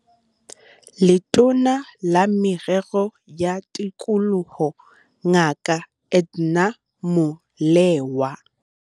Letona la Merero ya Tikoloho Ngaka Edna Molewa